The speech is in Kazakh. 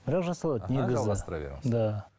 бірақ жасалады негізі да